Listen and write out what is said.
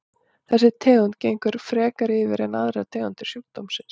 Þessi tegund gengur frekar yfir en aðrar tegundir sjúkdómsins.